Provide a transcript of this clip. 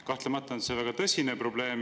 Kahtlemata on see väga tõsine probleem.